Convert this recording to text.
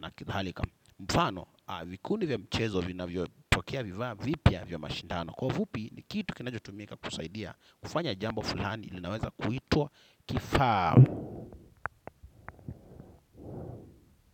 na kadhalika. Mfano, vikundi vya michezo vinavyopokea vifaa vipya vya mashindano. Kwa ufupi ni kitu kinachotumika kusaidia kufanya jambo fulani linaweza kuitwa kifaa.